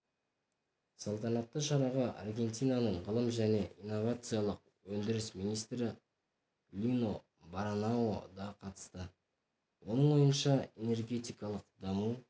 салтанатты шараға аргентинаның ғылым және инновациялық өндіріс министрі лино баранао да қатысты оның ойынша энергетикалық даму